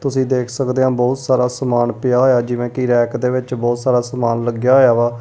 ਤੁਸੀਂ ਦੇਖ ਸਕਦੇ ਔ ਬਹੁਤ ਸਾਰਾ ਸਮਾਨ ਪਿਆ ਹੋਇਆ ਜਿਵੇਂ ਕਿ ਰੈਕ ਦੇ ਵਿੱਚ ਬਹੁਤ ਸਾਰਾ ਸਮਾਨ ਲੱਗਿਆ ਹੋਇਆ ਵਾ।